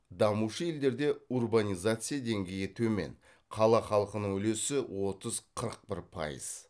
дамушы елдерде урбанизация деңгейі төмен қала халқының үлесі отыз қырық бір пайыз